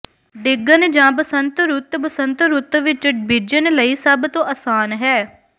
ਡਿੱਗਣ ਜਾਂ ਬਸੰਤ ਰੁੱਤ ਬਸੰਤ ਰੁੱਤ ਵਿੱਚ ਬੀਜਣ ਲਈ ਸਭ ਤੋਂ ਆਸਾਨ ਹੈ